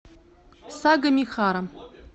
сагамихара